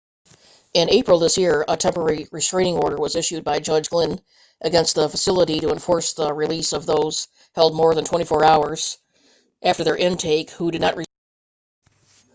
in april this year a temporary restaining order was issued by judge glynn against the facility to enforce the release of those held more than 24 hours after their intake who did not receive a hearing by a court commissioner